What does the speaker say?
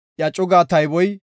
Iya cugaa tayboy 57,400